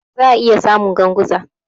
Za'a iya samu Ganguza.